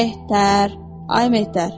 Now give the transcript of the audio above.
Mehter, ay Mehter!